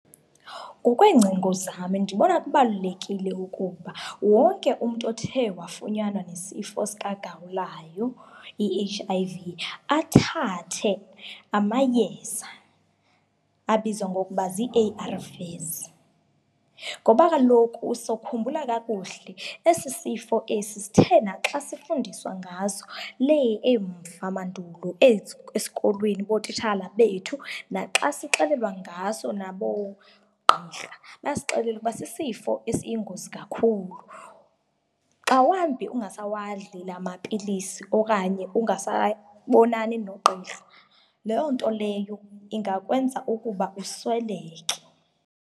Ngokweencingo zam ndibona kubalulekile ukuba wonke umntu othe wafunyanwa nesifo sikagawulayo, i-H_I_V, athathe amayeza abizwa ngokuba zii-A_R_Vs. Ngoba kaloku usokhumbula kakuhle, esi sifo esi sithe naxa sifundiswa ngaso lee emva mandulo, AIDS esikolweni ngootitshala bethu naxa sixelelwa ngaso naboogqirha basixelela ukuba sisifo esiyingozi kakhulu. Xa wambi ungasawadli la mapilisi okanye ungasayibonani nogqirha, loo nto leyo ingakwenza ukuba usweleke.